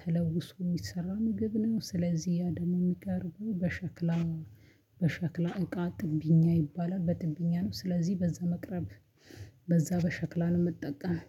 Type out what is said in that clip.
ተለውሶ የሚሰራ ምግብ ነው። ስለዚህ ያ ደግሞ የሚቀርበው በሸክላ እቃ ጥብኛ ይባላል። በጥብኛ ነው ስለዚህ በዛ መቅረብ በዛ በሸክላ ለመጠቀም